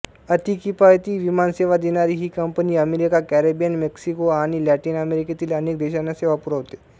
अतिकिफायती विमानसेवा देणारी ही कंपनी अमेरिका कॅरिबियन मेक्सिको आणि लॅटिन अमेरिकेतील अनेक देशांना सेवा पुरवते